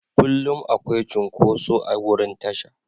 Kullum akwai cunkoso a wurin tasha.